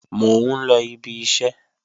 Mò ń lọ ibi iṣẹ́